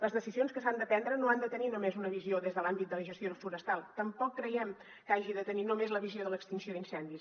les decisions que s’han de prendre no han de tenir només una visió des de l’àmbit de la gestió forestal i tampoc creiem que hagin de tenir només la visió de l’extinció d’incendis